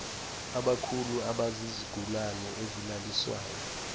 abakhulu abazizigulane ezilaliswayo